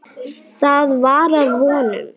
Það var að vonum.